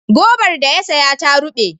Gobar da ya saya ta ruɓe.